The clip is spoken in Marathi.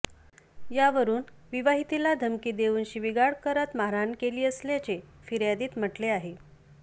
यावरून विवाहितेला धमकी देऊन शिवीगाळ करत मारहाण केली असल्याचे फिर्यादीत म्हटले आहे